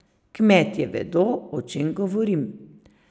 Kmetje vedo, o čem govorim.